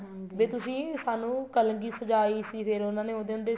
ਵੀ ਤੁਸੀਂ ਸਾਨੂੰ ਕਲਗੀ ਸਜਾਈ ਸੀ ਫ਼ੇਰ ਉਹਨਾ ਨੇ ਉਹਨਾ ਦੇ